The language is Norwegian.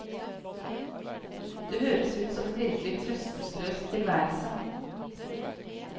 Det høres ut som en virkelig trøstesløs tilværelse.